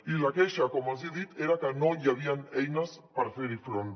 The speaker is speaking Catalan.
i la queixa com els hi he dit era que no hi havien eines per ferhi front